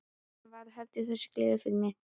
Ég sem var að halda þessa gleði fyrir þig!